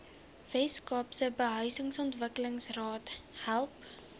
weskaapse behuisingsontwikkelingsraad help